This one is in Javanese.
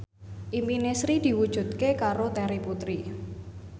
impine Sri diwujudke karo Terry Putri